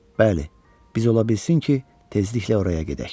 Bəli, biz ola bilsin ki, tezliklə oraya gedək.